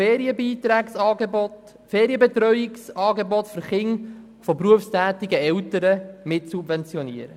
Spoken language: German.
Dieser soll Ferienbetreuungsangebote für Kinder von berufstätigen Eltern mitsubventionieren.